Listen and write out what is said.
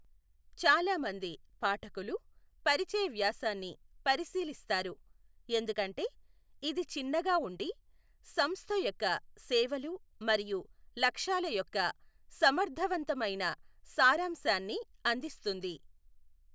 చాలా మంది పాఠకులు పరిచయ వ్యాసాన్ని పరిశీలిస్తారు, ఎందుకంటే ఇది చిన్నగా ఉండి సంస్థ యొక్క సేవలు మరియు లక్ష్యాల యొక్క సమర్థవంతమైన సారాంశాన్ని అందిస్తుంది.